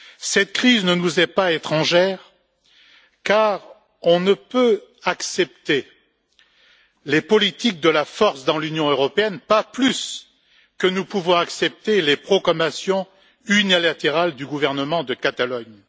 Cette crise ne nous est pas étrangère car on ne peut accepter l'usage de la force dans l'Union européenne, pas plus que nous ne pouvons accepter les proclamations unilatérales du gouvernement de Catalogne.